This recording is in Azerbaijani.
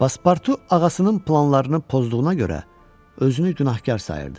Paspartu ağasının planlarını pozduğuna görə özünü günahkar sayırdı.